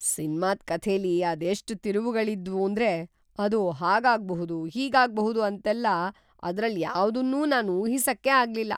ಸಿನ್ಮಾದ್‌ ಕಥೆಲಿ ಅದೆಷ್ಟ್‌ ತಿರುವುಗಳಿದ್ವೂಂದ್ರೆ ಅದು ಹಾಗಾಗ್ಬಹುದು, ಹೀಗಾಗ್ಬಹುದು ಅಂತೆಲ್ಲ ಅದ್ರಲ್ಯಾವ್ದನ್ನೂ ನಾನ್ ಊಹಿಸಕ್ಕೇ ಆಗ್ಲಿಲ್ಲ.